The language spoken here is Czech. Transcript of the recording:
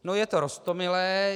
No, je to roztomilé.